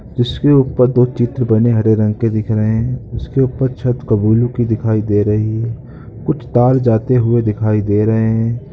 इसके ऊपर दो चित्र बने हरे रंग के दिख दे रहे हैं। इसके ऊपर छत की दिखाई दे रही है। कुछ तार जाते हुए दिखाई दे रहे हैं।